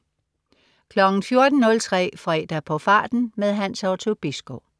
14.03 Fredag på farten. Hans Otto Bisgaard